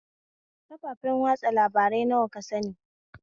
Kafafen watsa labarai nawa ka sani?